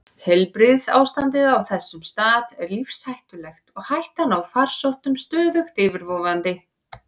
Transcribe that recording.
Heilbrigðisástandið á þessum stað er lífshættulegt og hættan á farsóttum stöðugt yfirvofandi.